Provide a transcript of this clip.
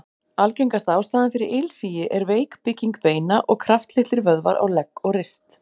Algengasta ástæðan fyrir ilsigi er veik bygging beina og kraftlitlir vöðvar á legg og rist.